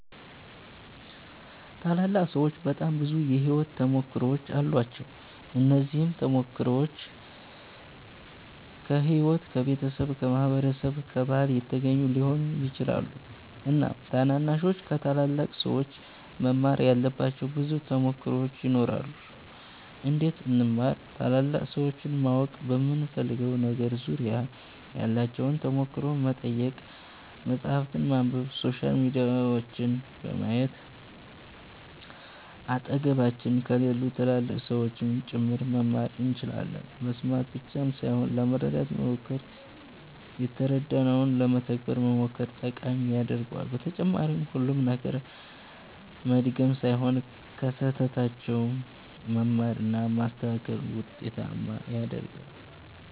ታላላቅ ሠዎች በጣም ብዙ የሕይወት ተሞክሮዎች አሏቸው። እነዚህም ተሞክሮዎች ከሕይወት፣ ከቤተሰብ፣ ከማህበረሰብ፣ ከባህል የተገኙ ሊሆኑ ይችላሉ። እናም ታናናሾች ከታላላቅ ሠዎች መማር ያለባቸው ብዙ ተሞክሮዎች ይኖራሉ። እንዴት እንማር ?ታላላቅ ሠዎችን ማወቅ በምንፈልገው ነገር ዙሪያ ያላቸውን ተሞክሮ መጠየቅ፣ መፃህፍትን ማንበብ፣ ሶሻል ሚዲያዎችን በማየት አጠገባችን ከሌሉ ትላልቅ ሠዎችም ጭምር መማር እንችላለን መስማት ብቻ ሣይሆን ለመረዳት መሞከር የተረዳነውን ለመተግበር መሞከር ጠቃሚ ያደርገዋል በተጨማሪም ሁሉንም ነገር መድገም ሣይሆን ከሥህተታቸውም መማር እና ማስተካከል ውጤታማ ያደርጋል።